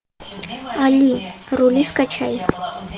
али рули скачай